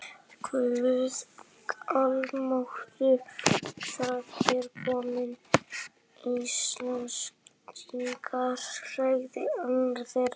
Guð almáttugur, það eru komnir Íslendingar, sagði annar þeirra.